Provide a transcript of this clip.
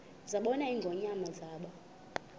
zabona ingonyama zaba